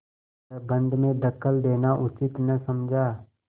प्रबंध में दखल देना उचित न समझा